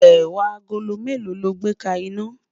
ẹwà àgólọ̀ mélò ló gbè ka iná?